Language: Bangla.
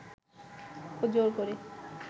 ও জোর করে